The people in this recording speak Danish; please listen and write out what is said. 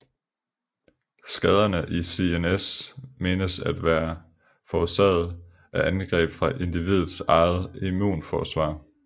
Skaderne i CNS menes at være forårsaget af angreb fra individets eget immunforsvar